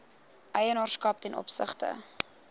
eienaarskap ten opsigte